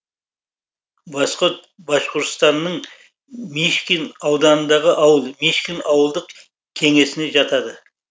восход башқұртстанның мишкин ауданындағы ауыл мишкин ауылдық кеңесіне жатады